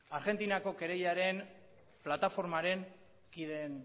argentinako kereilaren plataformaren kideen